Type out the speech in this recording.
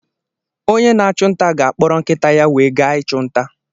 Onye na-achụ nta ga-akpọrọ Nkịta ya wee gaa ịchụ nta.